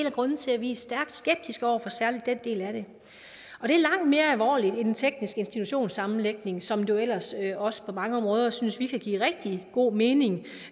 af grundene til at vi er stærkt skeptiske over for særlig den del af det og det er langt mere alvorligt end en teknisk institutionssammenlægning som jo ellers også på mange områder synes vi kan give rigtig god mening